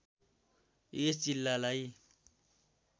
यस जिल्लालाई